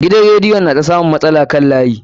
Gidan radiyon na ta samun matsala kan layi.